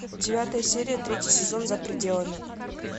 девятая серия третий сезон за пределами